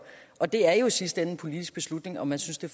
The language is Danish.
og det er jo i sidste ende en politisk beslutning om man synes det